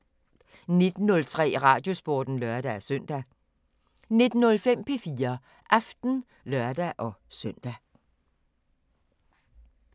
19:03: Radiosporten (lør-søn) 19:05: P4 Aften (lør-søn)